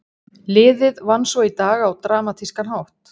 Liðið vann svo í dag á dramatískan hátt.